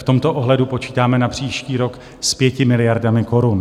V tomto ohledu počítáme na příští rok s 5 miliardami korun.